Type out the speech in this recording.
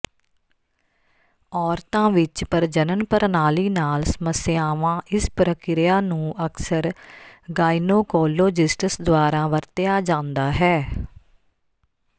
ਔਰਤਾਂ ਵਿੱਚ ਪ੍ਰਜਨਨ ਪ੍ਰਣਾਲੀ ਨਾਲ ਸਮੱਸਿਆਵਾਂ ਇਸ ਪ੍ਰਕਿਰਿਆ ਨੂੰ ਅਕਸਰ ਗਾਇਨੋਕੋਲੋਜਿਸਟਸ ਦੁਆਰਾ ਵਰਤਿਆ ਜਾਂਦਾ ਹੈ